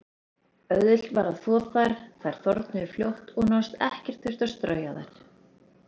Auðvelt var að þvo þær, þær þornuðu fljótt og nánast ekkert þurfti að strauja þær.